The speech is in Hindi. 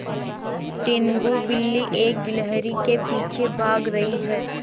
टीनगु बिल्ली एक गिल्हरि के पीछे भाग रही है